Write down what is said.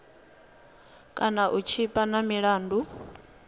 kana u tshipa na milandu